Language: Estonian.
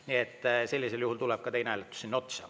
Nii et sellisel juhul tuleb ka teine hääletus sinna otsa.